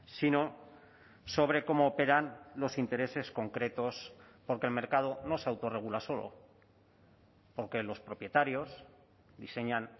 sino sobre cómo operan los intereses concretos porque el mercado no se autorregula solo porque los propietarios diseñan